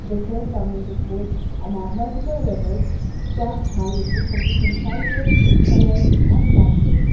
the shelves are made of wood and multiple level stacked high with books of different sizes colours and bindings.